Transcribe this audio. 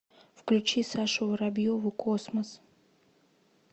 включи сашу воробьеву космос